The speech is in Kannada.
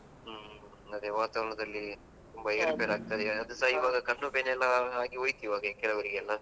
ಹ್ಮ್ ಹ್ಮ್, ಅದೇ ವಾತಾವರಣದಲ್ಲಿ ತುಂಬಾ ಏರುಪೇರು ಆಗ್ತದೆ ಅದು ಸ ಇವಾಗ ಕಣ್ಣು ಬೇನೆಯೆಲ್ಲಾ ಅದು ಹೋಯಿತು ಈವಾಗ ಕೆಲವರಿಗೆಲ್ಲ.